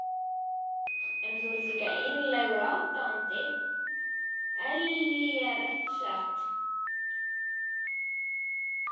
Þorbjörn: En þú ert líka einlægur aðdáandi Ellýjar ekki satt?